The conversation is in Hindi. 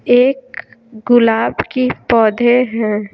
एक गुलाब की पौधे हैं।